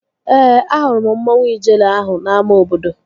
Ee, ahụrụ m mmanwu Ijele ahụ n'ámá obodo